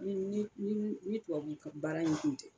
Ni ni ni tubabu fɛ baara in kun tɛ